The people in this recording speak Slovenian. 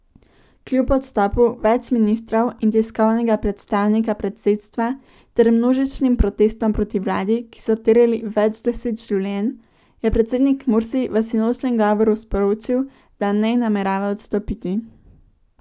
Kljub odstopu več ministrov in tiskovnega predstavnika predsedstva ter množičnim protestom proti vladi, ki so terjali več deset življenj, je predsednik Mursi v sinočnjem govoru sporočil, da ne namerava odstopiti.